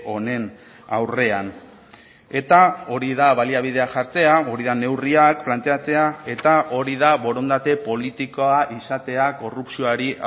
honen aurrean eta hori da baliabideak jartzea hori da neurriak planteatzea eta hori da borondate politikoa izatea korrupzioari